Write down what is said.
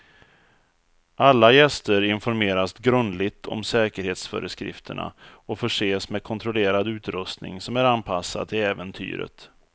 Alla gäster informeras grundligt om säkerhetsföreskrifterna och förses med kontrollerad utrustning som är anpassad till äventyret.